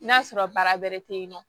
N'a sɔrɔ baara bɛrɛ tɛ yen nɔ